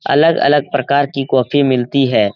अलग-अलग प्रकार की कॉफी मिलती है।